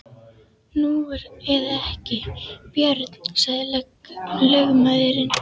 Nú eða ekki, Björn, sagði lögmaður.